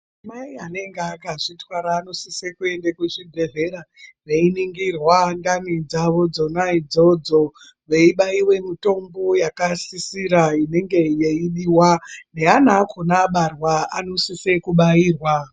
Mai vanenge vakazvitwara vanosisa kuenda kuzvibhedhlera veiningirwa Ndani dzawo dzona idzodzo veibaiwa mitombo inenge yeisisirwa inenge yeidiwa neana acho abarwa anosisa kubairwa.